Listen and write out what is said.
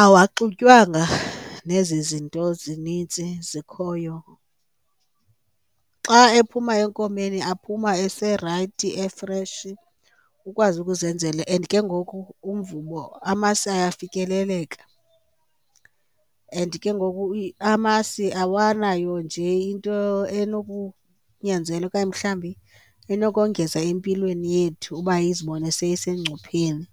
Awaxutywanga nezi zinto zinintsi zikhoyo, xa ephuma enkomeni aphuma eserayithi efreshi ukwazi ukuzenzela and ke ngoku umvubo, amasi iyafikeleleka. And ke ngoku amasi awanayo nje into enokunyanzela okanye mhlawumbi ekunokongeza empilweni yethu uba izibone seyisengcupheni.